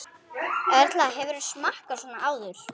Erla: Hefurðu smakkað svona áður?